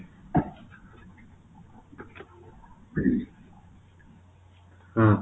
ହୁଁ